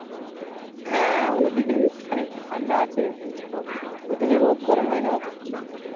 হ্যাঁ ওদিকে খানেক ঠান্ডা আছে বলছে তো ওই তালি রোদ গরম হয় না অত